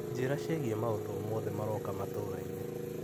Njĩra ciĩgiĩ maũndũ o mothe maroka matũra-inĩ.